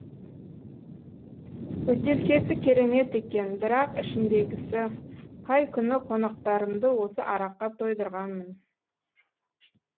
бөтелкесі керемет екен бірақ ішіндегісі қай күні қонақтарымды осы араққа тойдырғанмын